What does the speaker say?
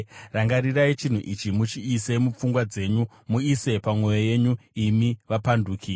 “Rangarirai chinhu ichi, muchiise mupfungwa dzenyu, muise pamwoyo yenyu, imi vapanduki.